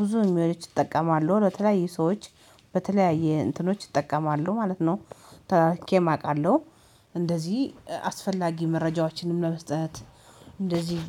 ብዙ ኢሜጆች እጠቀማለሁ በተለያዩ ሰዎች በተለያየ እንትኖች እጠቀማለሁ ማለት ነው። አውቃለሁ እንደዚህ አስፈላጊ መረጃዎችንም ለመስጠት። እንደዚህ